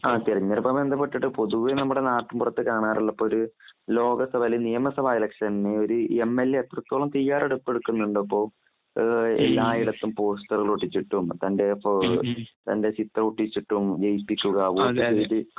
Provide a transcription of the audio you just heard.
ആധാർതിരഞ്ഞെടുപ്പുമായി ബന്ധപ്പെട്ട് പൊതുവേ നമ്മുടെ നാട്ടിന് പുറത്ത് കാണാറുള്ള ഇപ്പം ഒരു ലോകസഭ അല്ലേ നിയമ സഭ ഇലക്ഷൻ ഒരു എം. എൽ. എ എത്രത്തോളം തയ്യാറെടുപ് എടുക്കുന്നുണ്ട് ? അപ്പോ എല്ലായിടത്തും പോസ്റ്ററുകൾ ഒട്ടിച്ചിട്ടും തന്റെ ചിത്രം ഒട്ടിച്ചിട്ടും ജയിപ്പിക്കുക വോട്ട് ചെയ്ത്